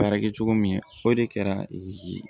Baara kɛ cogo min o de kɛra